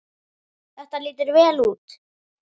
Þetta lítur vel út.